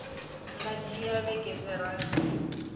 nga dzhia vhege dza rathi